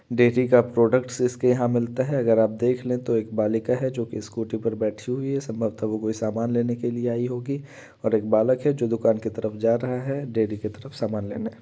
Dairy का products इसके यहाँ मिलते हैं | अगर आप देख ले तो एक बालिका है जो कि एक स्कूटी पे बैठी हुई है संभवतः वो कोई सामान लेने के लिए आई होगी और एक बालक है जो दुकान की तरफ जा रहा है। डेरी की तरफ सामान लेने |